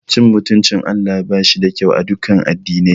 Cin mutuncin Allah bashi da kyau aduka addinai.